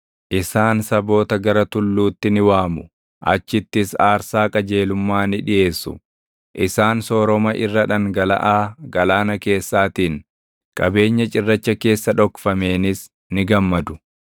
Isaan saboota gara tulluutti ni waamu; achittis aarsaa qajeelummaa ni dhiʼeessu; isaan sooroma irra dhangalaʼaa galaana keessaatiin, qabeenya cirracha keessa dhokfameenis ni gammadu.”